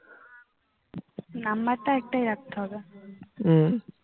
উম